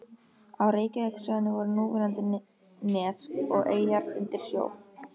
Á Reykjavíkursvæðinu voru núverandi nes og eyjar undir sjó.